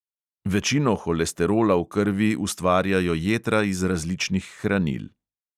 Večino holesterola v krvi ustvarjajo jetra iz različnih hranil.